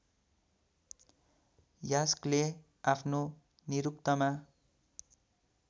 यास्कले आफ्नो निरुक्तमा